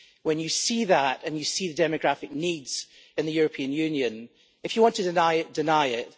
When you see that and you see the demographic needs in the European Union, if you want to deny it, deny it.